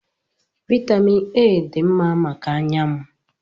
Vaịtamịn A dị mma maka anya m.